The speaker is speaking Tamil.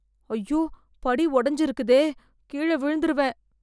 ஐயோ படி உடைஞ்சு இருக்குதே, கீழே விழுந்துருவேன்.